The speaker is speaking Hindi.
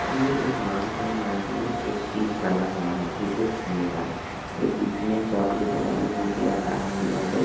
ये एक मार्ट है मार्ट में एक पीच बना हुआ है क्रिकेट खेलने का ये पीच में चोक दे के लाइन दे के रखा है यहां पे--